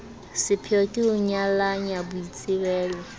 sepheyo ke ho nyalanya boitsebelo